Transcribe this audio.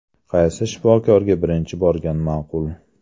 Qaysi shifokorga birinchi borgan ma’qul?